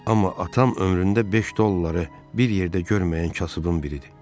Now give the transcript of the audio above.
Amma atam ömründə 5 dolları bir yerdə görməyən kasıbın biridir.